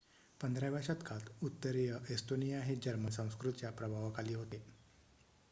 १५व्या शतकात उत्तरीय एस्तोनिया हे जर्मन संस्कृतीच्या प्रभावाखाली होते